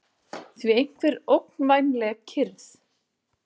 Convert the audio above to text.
því einhver ógnvænleg kyrrð.